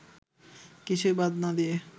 কিছুই বাদ না দিয়ে